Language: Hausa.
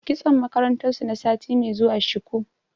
Kitson makarantar su na sati mai zuwa shuku.